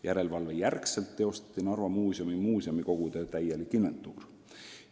Järelevalve järel tehti muuseumikogu täielik inventuur.